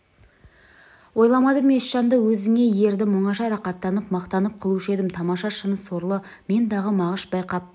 ойламадым еш жанды өзіңе ердім оңаша рақаттанып мақтанып қылушы едім тамаша шыны сорлы мен-дағы мағыш байқап